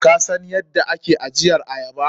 Kasan yadda ake ajiyar ayaba?